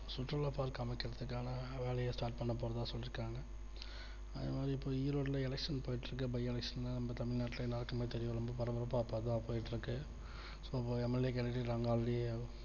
சுற்றுலா park அமைக்கிறதுக்கான வேலைய start பண்ண போறதா சொல்லி இருக்காங்க அதே மாதிரி இப்போ ஈரோட்ல election போயிட்டு இருக்கு by election தமிழ்நாட்டுல எல்லாருக்கும் தெரியும் பரபரப்பாக அதான் போயிட்டு இருக்கு soMLA களுக்கு already